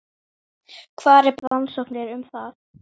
Hvar er best að finna rannsóknir um það?